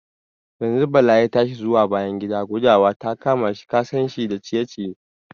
Yanzun Bala ya tashi zuwa bayan gida, gudawa ta kama shi, kasan shi da cire-ciye.